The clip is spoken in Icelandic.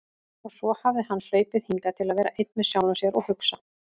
Og svo hafði hann hlaupið hingað til að vera einn með sjálfum sér og hugsa.